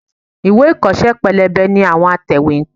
Ìwé ìkọ́ṣẹ́ pélébé làwọn atẹ̀wétà ń pín.